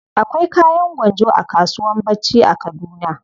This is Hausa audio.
Akwai kayan gwanjo a kasuwan bacci a kaduna.